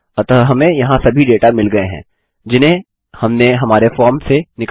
अतः हमें यहाँ सभी डेटा मिल गये हैं जिन्हें हमने हमारे फॉर्म से निकाला था